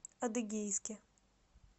адыгейске